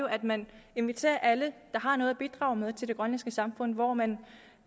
at man inviterer alle der har noget at bidrage med til det grønlandske samfund hvor man